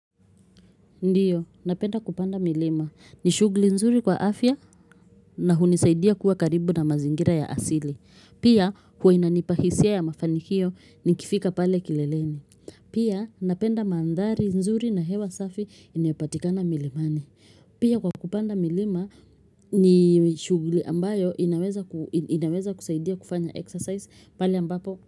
Ndiyo, napenda kupanda milima. Ni shughuli nzuri kwa afya na hunisaidia kuwa karibu na mazingira ya asili. Pia, huwa inanipa hisia ya mafanikio nikifika pale kileleni. Pia, napenda mandhari nzuri na hewa safi inayopatikana milimani. Pia, kwa kupanda milima ni shughuli ambayo inaweza kusaidia kufanya exercise pali ambapo.